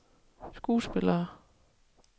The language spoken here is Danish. skuespillere